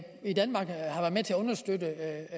understøtte